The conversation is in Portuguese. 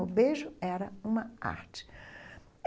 O beijo era uma arte.